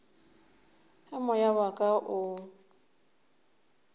ge moya wa ka o